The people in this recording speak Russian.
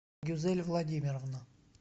гюзель владимировна